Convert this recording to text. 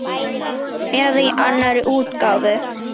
Eða í annarri útgáfu